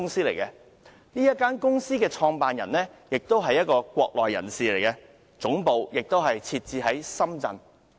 這是一間大陸公司，其創辦人亦是一名國內人士，總部設在深圳。